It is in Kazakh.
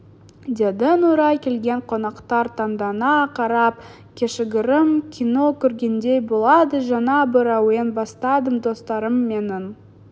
деді нұрай келген қонақтар таңдана қарап кішігірім кино көргендей болады жаңа бір әуен бастадым достарым менің